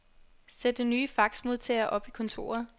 Sæt den nye faxmodtager op i kontoret.